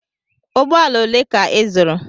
Ụgbọala ole ka ị zụrụ?